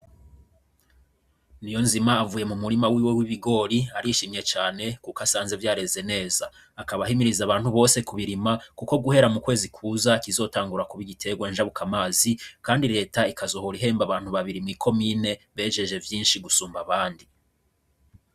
Niyonzima avuye mu murima wiwe w'ibigori, arishimye cane kuko asanze vyareze neza. Akaba ahimiriza abantu bose kubirima, kuko guhera mu kwezi kuza kizotangura kuba igiterwa njabukamazi kandi reta ikazohora ihemba abantu babiri mw'ikomine bejeje gusumba abandi.